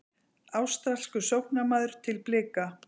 Ástralskur sóknarmaður til Blika